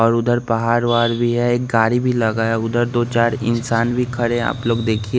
और उधर पहार वहार भी है एक गारी भी लगा है उधर दो चार इंसान भी खड़े हैं आप लोग देखिए।